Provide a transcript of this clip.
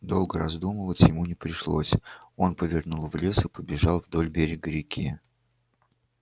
долго раздумывать ему не пришлось он повернул в лес и побежал вдоль берега реки